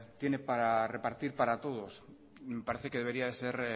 tiene para repartir para todos parece que debería de ser